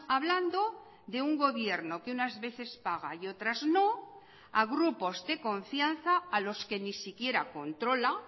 hablando de un gobierno que unas veces paga y otras no a grupos de confianza a los que ni siquiera controla